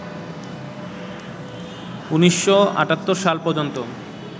১৯৮৭ সাল পর্যন্ত